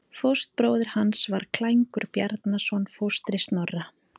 Fóstbróðir hans var Klængur Bjarnason, fóstri Snorra.